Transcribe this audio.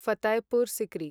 Fatehpur secrete